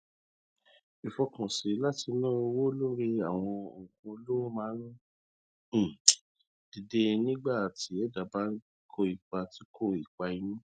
ìfọkànsìn láti na owó lórí àwọn nnkan olówó máa ń um dide nígbà tí ẹdá bá ń kó ipa kó ipa inú